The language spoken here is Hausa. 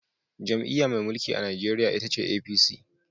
Jam’iyya mai mulki a Najeriya ita ce APC.